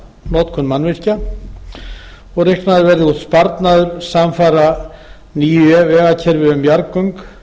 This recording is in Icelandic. notkun mannvirkja reiknaður verði út sparnaður samfara nýju vegakerfi um jarðgöng